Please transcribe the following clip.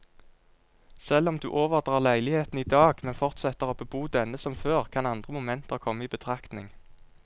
Selv om du overdrar leiligheten i dag, men fortsetter å bebo denne som før, kan andre momenter komme i betraktning.